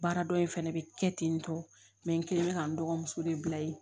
Baara dɔ in fɛnɛ bɛ kɛ ten tɔ mɛ n kelen bɛ ka n dɔgɔmuso de bila yen